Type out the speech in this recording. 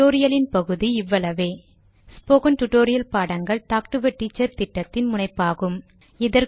இந்த டுடோரியலின் பகுதி இவ்வளவேஸ்போகன் டுடோரியல் பாடங்கள் டாக்டு எ டீச்சர் திட்டத்தின் முனைப்பாகும்